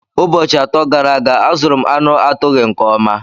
Ụbọchị atọ gara aga azụrụ m anu atụghị nke ọma.